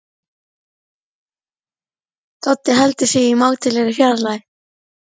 Doddi heldur sig í mátulegri fjarlægð.